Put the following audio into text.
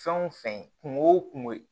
Fɛn o fɛn kunko o kunko